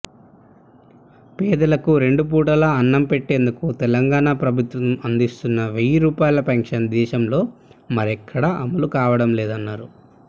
పేదలకు రెండు పూటలా అన్నంపెట్టేందుకు తెలంగాణా ప్రభుత్వం అం దిస్తున్న వెయ్యి రూపాయల పింఛన్ దేశంలో మరెక్కడా అమలు కావడంలేదన్నారు